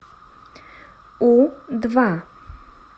у два